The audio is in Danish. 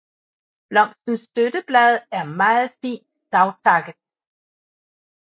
Blomstens støtteblad er meget fint savtakket